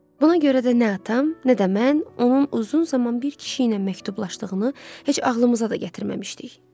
Buna görə də nə atam, nə də mən onun uzun zaman bir kişi ilə məktublaşdığını heç ağlımıza da gətirməmişdik.